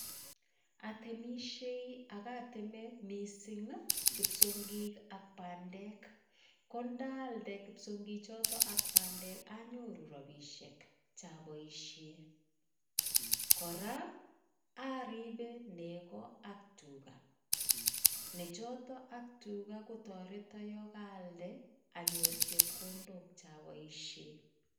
Atemisyei ak ateme mising ii kipsongik ak bandek, ko ndaalde kipsongichoto ak bandek anyoru robiisiek cha boisie, kora aribe nego ak tuga, nechoto ak tuga kotoreto yo kaalde anyor chepkondok cha boisie.